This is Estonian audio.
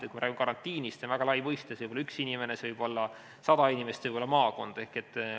Kui me räägime karantiinist, siis see on väga lai mõiste, see võib puudutada üht inimest, sadat inimest, maakonda.